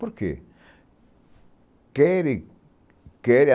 Por quê? Querem querem